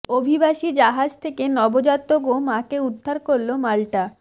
অভিবাসী জাহাজ থেকে নবজাতক ও মাকে উদ্ধার করলো মাল্টা